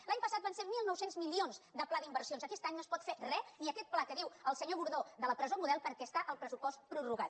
l’any passat van ser mil nou cents milions de pla d’inversions aquest any no es pot fer re ni aquest pla que diu el senyor gordó de la presó model perquè està el pressupost prorrogat